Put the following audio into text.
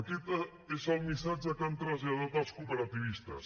aquest és el missatge que han traslladat als cooperativistes